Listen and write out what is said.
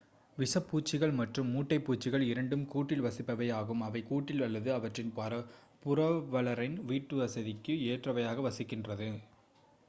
விஷப்பூச்சிகள் மற்றும் மூட்டைப்பூச்சிகள் இரண்டும் கூட்டில் வசிப்பவை ஆகும் அவை கூட்டில் அல்லது அவற்றின் புரவலரின் வீட்டுவசதிக்கு ஏற்றவையாக வசிக்கின்றன